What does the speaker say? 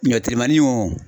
Ɲɔ telimani wo